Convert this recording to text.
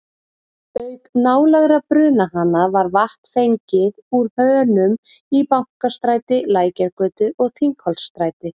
Auk nálægra brunahana var vatn fengið úr hönum í Bankastræti, Lækjargötu og Þingholtsstræti.